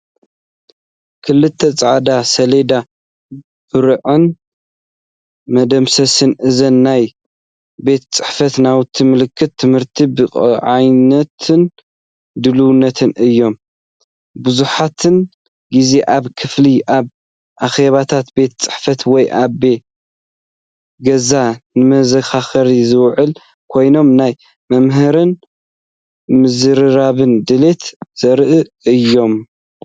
ክልተ ጻዕዳ ሰሌዳ ብርዕን መደምሰስን ።እዞም "ናይ ቤት ጽሕፈት ናውቲ" ምልክት ትምህርቲ፡ ብቕዓትን ድልውነትን እዮም። መብዛሕትኡ ግዜ ኣብ ክፍሊ፡ ኣብ ኣኼባታት ቤት ጽሕፈት ወይ ኣብ ገዛ ንመዘኻኸሪ ዝውዕሉ ኮይኖም፡ ናይ ምምሃርን ምዝርራብን ድሌት ዘርእዩ እዮም።